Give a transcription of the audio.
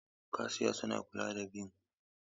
Kashiya suna kula da biyan kuɗi a manyan kantuna.